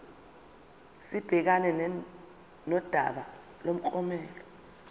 sibhekane nodaba lomklomelo